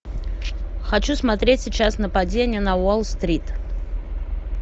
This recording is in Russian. хочу смотреть сейчас нападение на уолл стрит